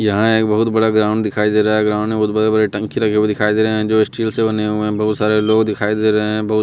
यहां एक बहुत बड़ा ग्राउंड दिखाई दे रहा है ग्राउंड में बहुत बड़े बड़े टंकी लगे हुए दिखाई दे रहे हैं जो स्टील से बने हुए हैं बहुत सारे लोग दिखाई दे रहे हैं बहुत--